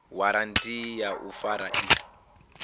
waranthi ya u fara i